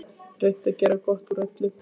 Reynt að gera gott úr öllu.